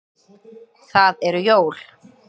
Það eru jól.